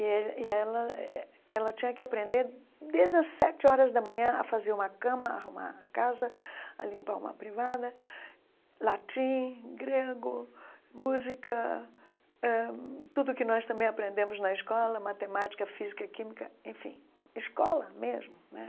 e ele e ela eh eh ela tinha que aprender desde as sete horas da manhã a fazer uma cama, arrumar a casa, a limpar uma privada, latim, grego, música, ãh tudo o que nós também aprendemos na escola, matemática, física, química, enfim, escola mesmo né.